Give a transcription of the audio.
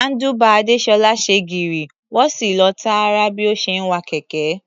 Handlebar Adésọ́lá ṣe gírí, wọ́n sì lọ tààrà bí ó ṣe ń wa kẹ̀kẹ́.